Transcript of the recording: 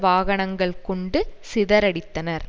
வாகனங்கள் கொண்டு சிதறடித்தனர்